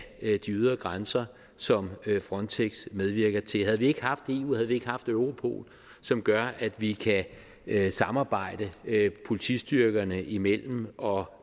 de ydre grænser som frontex medvirker til havde vi ikke haft eu havde vi ikke haft europol som gør at vi kan samarbejde politistyrkerne imellem og